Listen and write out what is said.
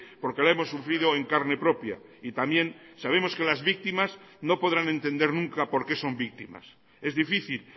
porque la hemos sufrido en carne propia y también sabemos que las víctimas no podrán entender nunca por qué son víctimas es difícil